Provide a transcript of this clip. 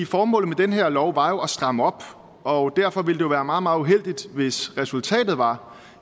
formålet med den her lov var jo at stramme op og derfor ville det være meget meget uheldigt hvis resultatet var